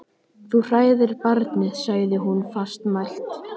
Þú hræðir barnið, sagði hún fastmælt.